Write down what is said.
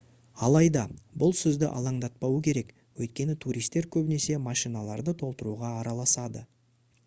алайда бұл сізді алаңдатпауы керек өйткені туристер көбінесе машиналарды толтыруға араласады